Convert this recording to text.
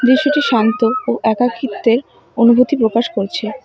বিষয়টি শান্ত ও একাকিত্বের অনুভূতি প্রকাশ করছে।